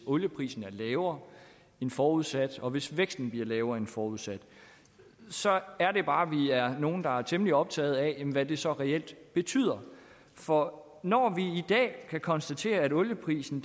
olieprisen er lavere end forudsat og hvis væksten bliver lavere end forudsat så er det bare vi er nogle der er temmelig optagede af hvad det så reelt betyder for når vi i dag kan konstatere at olieprisen